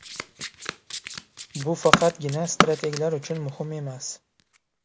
Bu faqatgina strateglar uchun muhim emas.